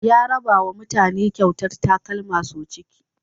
Ya rabawa mutane kyautar takalma sau ciki.